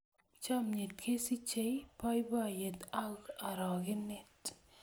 Chomnyet kosichei boiboiyet ako orogenet.